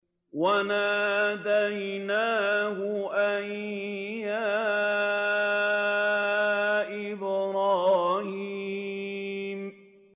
وَنَادَيْنَاهُ أَن يَا إِبْرَاهِيمُ